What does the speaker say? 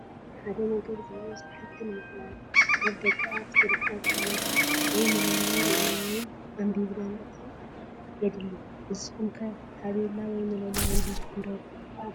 ሓደ ነገር ዝህቦ ስራሕቲ ንምፍላጥ ኣብ ደገኣፍ ዝርከብ ታቤላ (መላለይ) ሪኢና ወይም ኣንቢብና ምእታው የድሊ። ንስኹም ኸ ታቤላ (መላለይ) ኣንቢብኹም ዶ ትኣትዉ?